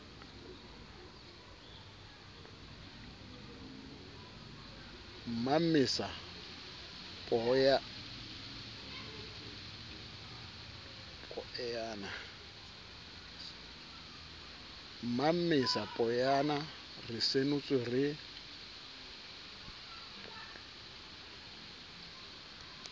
mmamesa poeyana re senotswe re